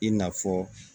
I n'a fɔ